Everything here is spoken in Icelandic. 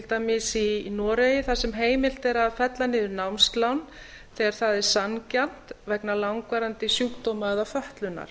dæmis í noregi þar sem heimilt er að fella niður námslán þegar það er sanngjarnt vegna langvarandi sjúkdóma eða fötlunar